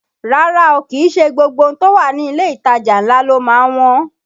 Rárá o, kìí ṣe gbogbo ohun tó wà ní ilé ìtajà ńlá ló má ń wọ́n